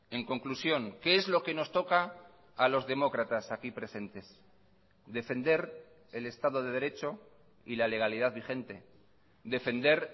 en conclusión qué es lo que nos toca a los demócratas aquí presentes defender el estado de derecho y la legalidad vigente defender